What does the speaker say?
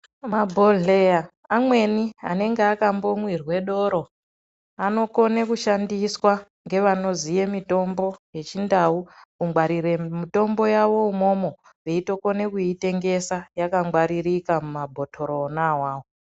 Mabhodhleya amweni anenge akambomwirwe doro anokone kushandiswa ngevanoziye mitombo yechindau kungwarire mutombo yawo yakangwaririka mumabhotoro ona awawo.